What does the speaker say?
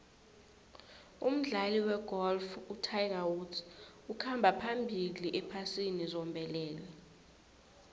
umdlali wegolf utiger woods ukhamba phambili ephasini zombelele